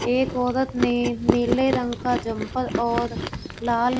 एक औरत ने नीले रंग का जमपल और लाल--